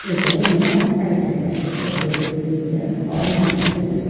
இது நார்த் சைட்ல இருக்குற ஒரு பெரிய ஹால் மாதிரி இருக்--